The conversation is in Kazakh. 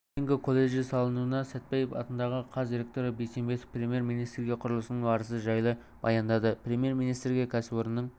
холдингі колледжі салынуда сәтпаев атындағы қаз ректоры бейсембетов премьер-министрге құрылысының барысы жайлы баяндады премьер-министрге кәсіпорынның